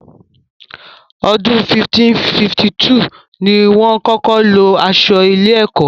Ọdún 1552 ni wọ́n kọ́kọ́ lo aṣọ ilé-ẹ̀kọ́.